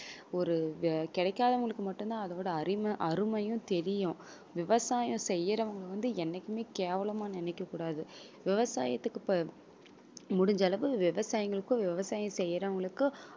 ஒரு கிடைக்காதவங்களுக்கு மட்டும் தான் அதோட அருமை அருமையும் தெரியும் விவசாயம் செய்றவங்க வந்து என்னைக்குமே கேவலமா நினைக்க கூடாது. விவசாயத்துக்கு முடிஞ்ச அளவு விவசாயிங்களுக்கும் விவசாயம் செய்றவங்களுக்கும்